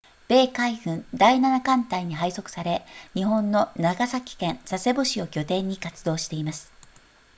米海軍第7艦隊に配属され日本の長崎県佐世保市を拠点に活動しています